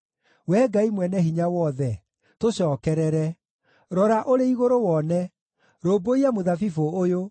Wee Ngai Mwene-Hinya-Wothe, tũcookerere! Rora ũrĩ igũrũ wone! Rũmbũiya mũthabibũ ũyũ,